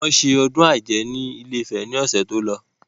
Wọn ṣe ọdún ajé ni ilé-ìfẹ́ ni ọ̀sẹ̀ tó lọ.